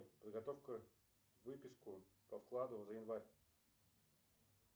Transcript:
подготовь ка выписку по вкладу за январь